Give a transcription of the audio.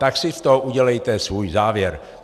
Tak si z toho udělejte svůj závěr.